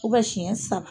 siɲɛ saba